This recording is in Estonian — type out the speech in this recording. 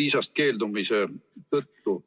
viisast keeldumise tõttu?